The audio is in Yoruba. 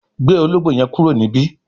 gbé Ológbò yen kúrò níbí!